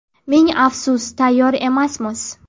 Ming afsus, tayyor emasmiz.